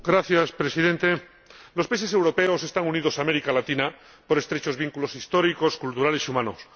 Señor Presidente, los países europeos están unidos a América Latina por estrechos vínculos históricos, culturales y humanos.